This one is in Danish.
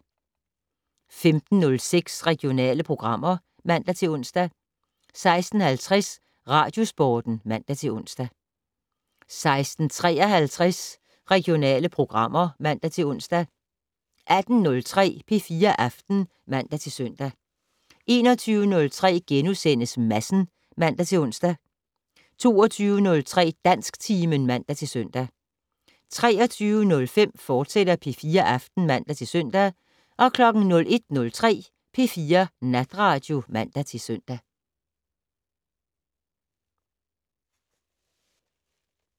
15:06: Regionale programmer (man-ons) 16:50: Radiosporten (man-ons) 16:53: Regionale programmer (man-ons) 18:03: P4 Aften (man-søn) 21:03: Madsen *(man-ons) 22:03: Dansktimen (man-søn) 23:05: P4 Aften, fortsat (man-søn) 01:03: P4 Natradio (man-søn)